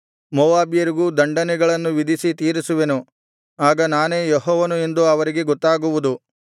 ಮೋವಾಬ್ಯರಿಗೂ ದಂಡನೆಗಳನ್ನು ವಿಧಿಸಿ ತೀರಿಸುವೆನು ಆಗ ನಾನೇ ಯೆಹೋವನು ಎಂದು ಅವರಿಗೆ ಗೊತ್ತಾಗುವುದು